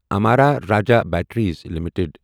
Amara Raja batteries limited